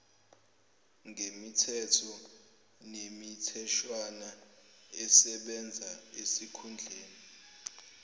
ngemithetho nemitheshwana esebenzaesikhundleni